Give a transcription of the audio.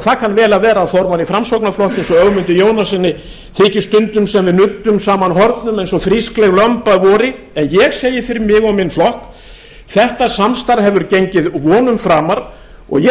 það kann vel að vera að formanni framsóknarflokksins og ögmundi jónassyni þyki stundum sem við nuddum saman hornum eins og frískleg lömb að vori en ég segi fyrir mig og minn flokk þetta samstarf hefur gengið vonum framar og ég